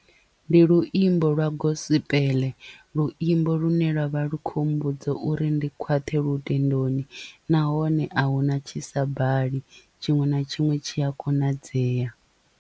Ndi luimbo lwa gospel luimbo lune lwavha lu kho mmbudza uri ndi khwaṱhe lutendoni nahone ahuna tshisa bali tshiṅwe na tshiṅwe tshi a konadzea.